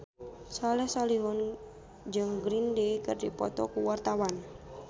Soleh Solihun jeung Green Day keur dipoto ku wartawan